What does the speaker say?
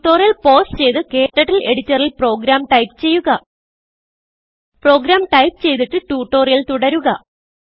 tutorial pause ചെയ്ത് ക്ടർട്ടിൽ എഡിറ്ററിൽ പ്രോഗ്രാം ടൈപ്പ് ചെയ്യുക പ്രോഗ്രാം ടൈപ്പ് ചെയ്തിട്ട് ട്യൂട്ടോറിയൽ തുടരുക